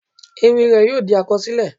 Ewì rẹ̀ yóò di àkọsílẹ̀.